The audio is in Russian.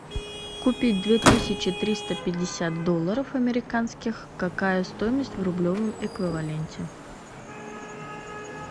купить две тысячи триста пятьдесят долларов американских какая стоимость в рублевом эквиваленте